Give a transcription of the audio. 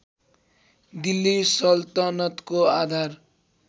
दिल्ली सल्तनतको आधार